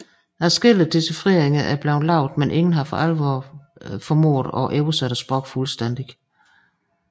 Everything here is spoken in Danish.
Adskillige decifreringer er blevet lavet men ingen har for alvor formået at oversætte sproget fuldstændigt